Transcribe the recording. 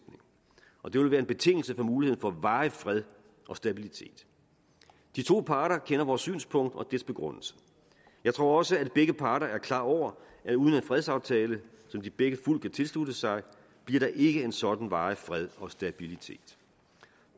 og det vil være en betingelse for muligheden for varig fred og stabilitet de to parter kender vores synspunkt og dets begrundelse jeg tror også at begge parter er klar over at uden en fredsaftale som de begge fuldt kan tilslutte sig bliver der ikke en sådan varig fred og stabilitet